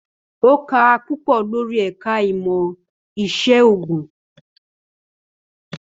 Ó kà á púpọ̀ lórí ẹ̀ka ìmọ̀ ìṣègùn.